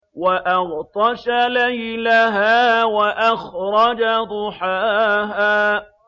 وَأَغْطَشَ لَيْلَهَا وَأَخْرَجَ ضُحَاهَا